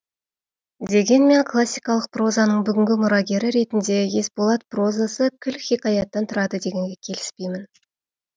дегенмен классикалық прозаның бүгінгі мұрагері ретінде есболат прозасы кіл хикаяттан тұрады дегенге келіспеймін